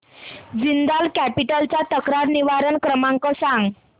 Jindal Capital चा तक्रार निवारण क्रमांक सांग